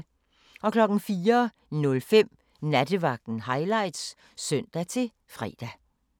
04:05: Nattevagten Highlights (søn-fre)